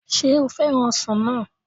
Sé ó fẹ́ràn ọsàn náà